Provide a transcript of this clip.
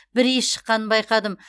бір иіс шыққанын байқадым